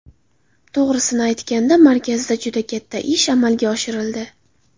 To‘g‘risini aytganda, markazda juda katta ish amalga oshirildi.